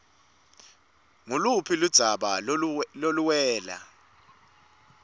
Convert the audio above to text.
nguluphi ludzaba loluwela